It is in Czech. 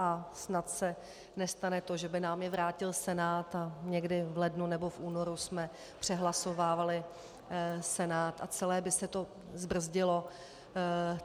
A snad se nestane to, že by nám je vrátil Senát a někdy v lednu nebo v únoru jsme přehlasovávali Senát a celé by se to zbrzdilo.